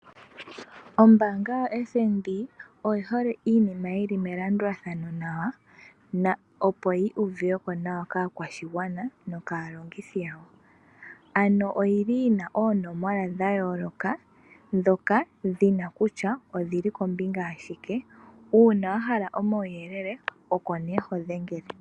Ombanga yaFNB oyihole iinima yili melandulathano nawa opo yi uvuweko nawa kaakwashigwana nokalongithi yawo. Oyili yina oonomola dha yooloka ndhoka dhina kutya odhili kombinga yashike uuna wahala omauyelele okoho dhengele.